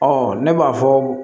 Ɔ ne b'a fɔ